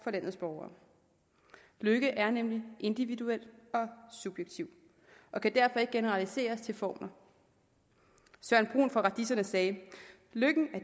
for landets borgere lykke er nemlig individuel og subjektiv og kan derfor ikke generaliseres til formler søren brun fra radiserne sagde lykken er